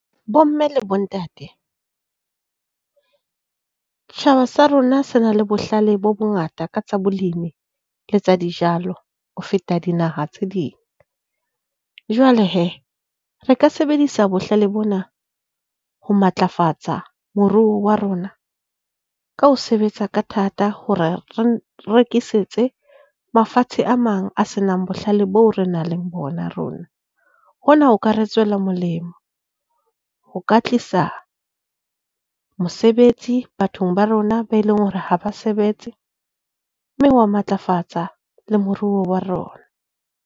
Bomme le bontate, tjhaba sa rona se na le bohlale bo bongata ka tsa bolimi le tsa dijalo ho feta dinaha tse ding. Jwale he, re ka sebedisa bohlale bona ho matlafatsa moruo wa rona ka ho sebetsa ka thata hore re rekisetse mafatshe a mang a senang bohlale boo re nang le bona rona. Hona ho ka re tswela molemo. Ho ka tlisa mosebetsi bathong ba rona ba e leng hore ha ba sebetse, mme hwa matlafatsa le moruo wa rona.